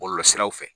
Bɔlɔlɔsiraw fɛ